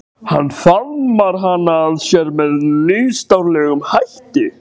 Hann faðmar hana að sér með nýstárlegum hætti.